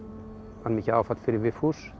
var mikið áfall fyrir Vigfús